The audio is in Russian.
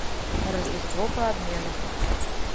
рождество по обмену